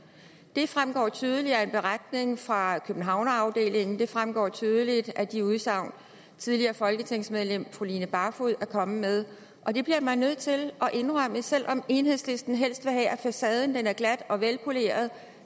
det fremgår tydeligt af en beretning fra københavnsafdelingen det fremgår tydeligt af de udsagn tidligere folketingsmedlem fru line barfod er kommet med det bliver man nødt til at indrømme selv om enhedslisten helst vil have at facaden er glat og velpoleret